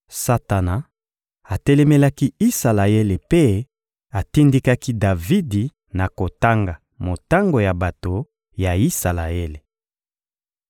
Satana atelemelaki Isalaele mpe atindikaki Davidi na kotanga motango ya bato ya Isalaele.